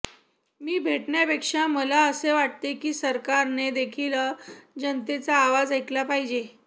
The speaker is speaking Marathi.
मी भेटण्यापेक्षा मला असे वाटते की सरकारने देखील जनतेचा आवाज ऐकला पाहिजे